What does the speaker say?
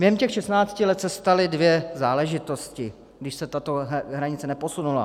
Během těch 16 let se staly dvě záležitosti, když se tato hranice neposunula.